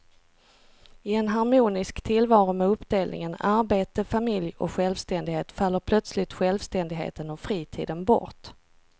I en harmonisk tillvaro med uppdelningen arbete, familj och självständighet faller plötsligt självständigheten och fritiden bort.